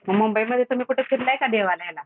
मुंबईमध्ये तुम्ही कुठे फिरलाय का देवाला याला?